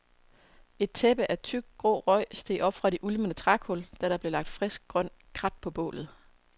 Et tæppe af tyk, grå røg steg op fra de ulmende trækul, da der blev lagt frisk, grønt krat på bålet.